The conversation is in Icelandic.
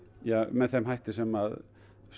með þeim hætti sem